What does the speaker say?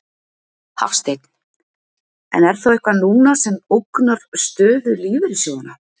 Hafsteinn: En er þá eitthvað núna sem ógnar stöðu lífeyrissjóðanna?